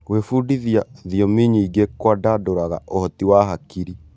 Gwĩbundithia thiomi nyingĩ kũandandũraga ũhoti wa hakiri.